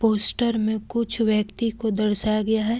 Poster में कुछ व्यक्ति को दर्शाया गया है।